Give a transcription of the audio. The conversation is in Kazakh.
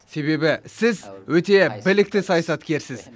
себебі сіз өте білікті саясаткерсіз